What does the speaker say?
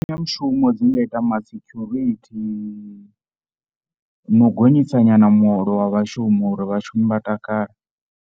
Mbekanyamushumo dzi nda ita ma security, no u gonyisa nyana muholo wa vhashumi uri vhashumi vha takale.